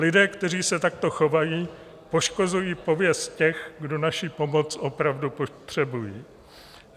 Lidé, kteří se takto chovají, poškozují pověst těch, kdo naši pomoc opravdu potřebují.